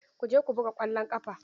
Ku je ku buga ƙwallon ƙafa!